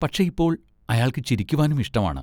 പക്ഷെ ഇപ്പോൾ അയാൾക്ക് ചിരിക്കുവാനും ഇഷ്ടമാണ്.